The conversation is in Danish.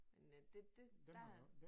Men øh det det der